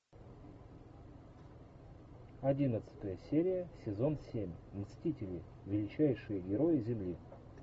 одиннадцатая серия сезон семь мстители величайшие герои земли